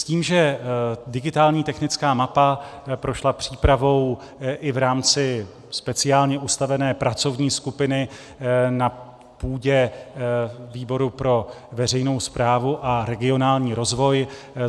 S tím, že digitální technická mapa prošla přípravou i v rámci speciálně ustavené pracovní skupiny na půdě výboru pro veřejnou správu a regionální rozvoj.